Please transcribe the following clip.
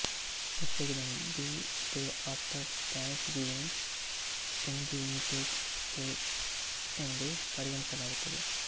ಹೆಚ್ಚಾಗಿ ಇದನ್ನು the day after Thanksgiving in the United States ಎಂದು ಪರಿಗಣಿಸಲಾಗುತ್ತದೆ